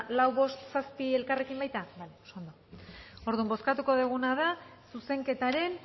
lau bost zazpi elkarrekin baita bale oso ondo orduan bozkatuko duguna da zuzenketaren